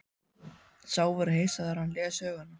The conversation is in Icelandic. Sá verður hissa þegar hann les söguna.